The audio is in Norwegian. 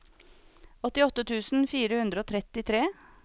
åttiåtte tusen fire hundre og trettitre